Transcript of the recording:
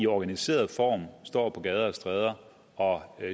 organiseret sig og står på gader og stræder og